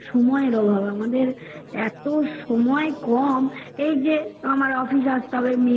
সময়ের অভাব আমাদের এত সময় কম এই যে আমায় office আসতে হবে